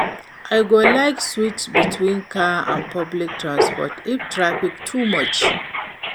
I go like switch between car and public transport if traffic too much.